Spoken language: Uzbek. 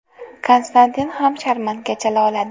Konstantin ham sharmanka chala oladi.